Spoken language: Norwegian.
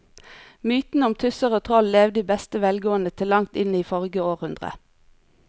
Mytene om tusser og troll levde i beste velgående til langt inn i forrige århundre.